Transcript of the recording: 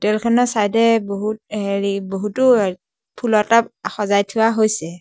Photo খনৰ side এ বহুত হেৰি বহুতো ফুলৰ টাব সজাই থোৱা হৈছে।